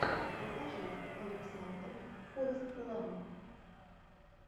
покажи александр форэстлэмп